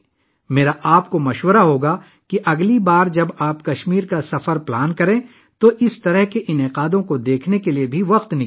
میں تجویز کروں گا کہ اگلی بار جب آپ کشمیر کے دورے کا ارادہ کریں تو اس طرح کے پروگراموں کو دیکھنے کے لیے وقت نکالیں